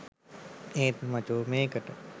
ඒත් මචෝ මේකට